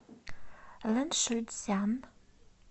лэншуйцзян